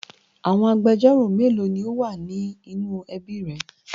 Àwọn agbẹjọ́rò mélòó ni ó wà ní inú ẹbí rẹ?